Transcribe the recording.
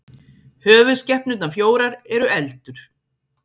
höfuðskepnurnar fjórar eru eldur